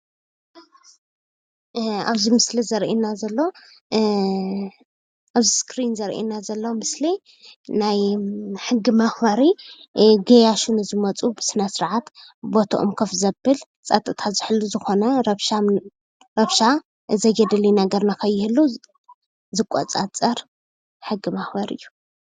ኣብዚ ምስሊ ዘርእየና ዘሎ ኣብ እሰክሪን ዘርእየና ዘሎ ምስሊ ናይ ሕጊ መክበሪ ገያሹ ንዝመፁ ብስነስርዓት ቦቶኦም ኮፍ ዘብል ፀጥታ ዝሕሉ ዝኾነ ረብሻ ዘየድሊ ነገር ንከይህሉ ዝቆፃፀር ሕጊ መክበሪ እዩ።